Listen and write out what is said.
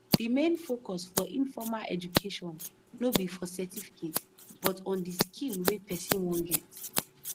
the main focus for informal education no be for certificate but on di skill wey person wan get